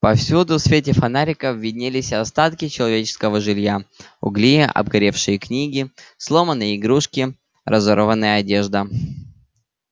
повсюду в свете фонариков виднелись остатки человеческого жилья угли обгоревшие книги сломанные игрушки разорванная одежда